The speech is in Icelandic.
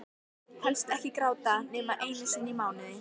Helst ekki gráta nema einu sinni í mánuði.